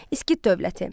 Skit dövləti.